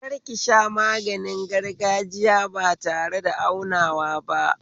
Kar kisha maganin gargajiya ba tareda aunawa ba